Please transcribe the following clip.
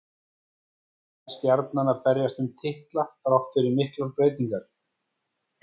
Nær Stjarnan að berjast um titla þrátt fyrir miklar breytingar?